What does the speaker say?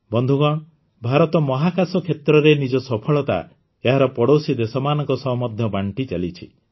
ବନ୍ଧୁଗଣ ଭାରତ ମହାକାଶ କ୍ଷେତ୍ରରେ ନିଜ ସଫଳତା ଏହାର ପଡ଼ୋଶୀ ଦେଶମାନଙ୍କ ସହ ମଧ୍ୟ ବାଣ୍ଟିଚାଲିଛି